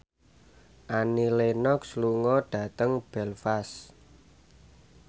Annie Lenox lunga dhateng Belfast